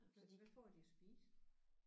Hvad hvad får de at spise?